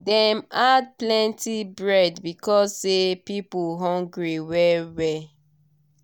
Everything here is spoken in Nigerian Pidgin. dem add plenty bread because say people hungry well well.